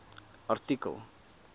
artikel